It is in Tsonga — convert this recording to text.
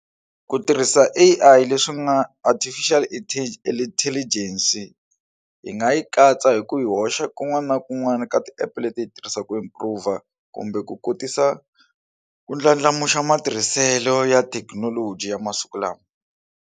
Ku tirhisa A_I leswi nga Artificial Intelligence hi nga yi katsa hi ku yi hoxa kun'wana na kun'wana ka ti app leti hi tirhisaka improve or kumbe ku kotisa ku ndlandlamuxa matirhiselo ya thekinoloji ya masiku lawa.